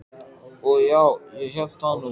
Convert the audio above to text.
Og já, ég hélt það nú.